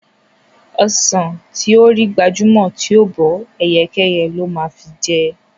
Ọsàn tó rí gbajúmọ̀ tí ò bọ́, ẹyẹkẹ́yẹ ló máa fi jẹ.